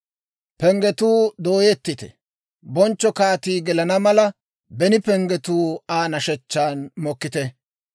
Penggetuu dooyettite! Bonchcho kaatii gelana mala; beni penggatuu Aa nashechchaan mokkite!